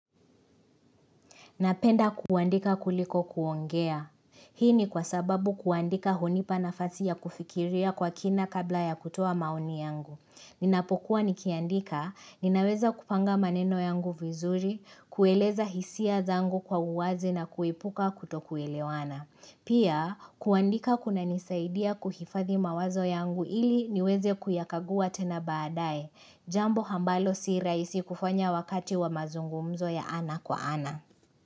Napenda kuandika kuliko kuongea. Hii ni kwa sababu kuandika hunipa nafasi ya kufikiria kwa kina kabla ya kutuwa maoni yangu. Ninapokuwa nikiandika, ninaweza kupanga maneno yangu vizuri, kueleza hisia zangu kwa uwazi na kuipuka kuto kuelewana. Pia, kuandika kuna nisaidia kuhifathi mawazo yangu ili niweze kuyakagua tena baadae. Jambo hambalo si raisi kufanya wakati wa mazungumzo ya ana kwa ana.